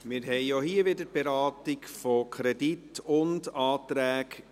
Wir haben auch hier wieder die gemeinsame Beratung von Kredit und Anträgen.